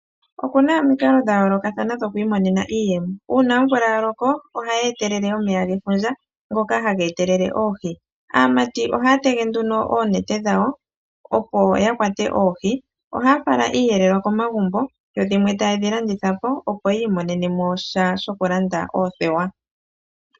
Oku na omikalo dhayoolokathana dhoku imonena iiyemo. Omvula ngele oya loko, ohayi etelele omeya gefundja, ngono haga etelele oohi. Aamati ohaa tege oonete dhawo, opo ya kwate oohi. Ohaya fala iiyelelwa komagumbo, yo dhimwe taye dhi landitha po, opo yi imonene mo sha shokulanda oothewa.